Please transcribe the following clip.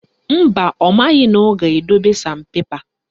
Mba, ọ maghị na ọ ga-edobe San pepa